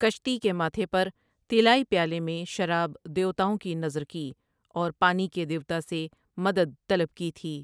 کشتی کے ماتھے پر طلائی پیالے میں شراب دیوتاؤں کی نذر کی اور پانی کے دیوتا سے مدد طلب کی تھی ۔